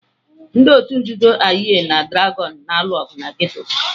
Ndị otu nzuzo Aye na Dragon na-alụ ọgụ na geto ha.